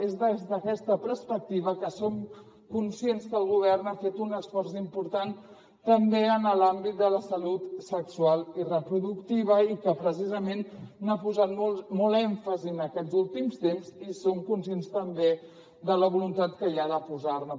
és des d’aquesta perspectiva que som conscients que el govern ha fet un esforç important també en l’àmbit de la salut sexual i reproductiva i que precisament hi ha posat molt èmfasi en aquests últims temps i som conscients també de la voluntat que hi ha de posar ne